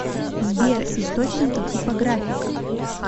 сбер источники типографика